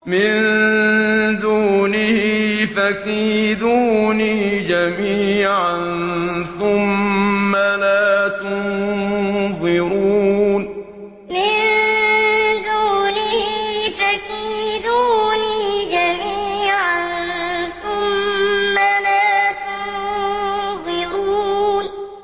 مِن دُونِهِ ۖ فَكِيدُونِي جَمِيعًا ثُمَّ لَا تُنظِرُونِ مِن دُونِهِ ۖ فَكِيدُونِي جَمِيعًا ثُمَّ لَا تُنظِرُونِ